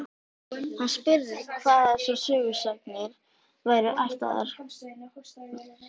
Hann spurði hvaðan þessar sögusagnir væru ættaðar.